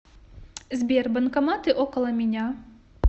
сбер банкоматы около меня